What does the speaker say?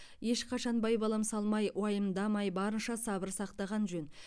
ешқашан байбалам салмай уайымдамай барынша сабыр сақтаған жөн